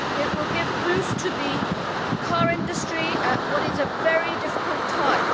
It will give a boost to the car industry at what is a very difficult time.